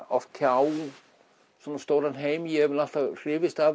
oft tjá svona stóran heim ég hef nú alltaf hrifist af